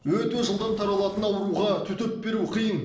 өте жылдам таралатын ауруға төтеп беру қиын